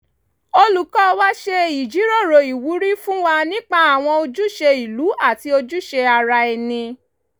olùkọ́ wa ṣe ìjíròrò ìwúrí fún wa nípa àwọn ojúṣe ìlú àti ojúṣe ara ẹni